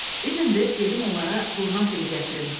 İzin ver, gedim onlara durna teli gətirim.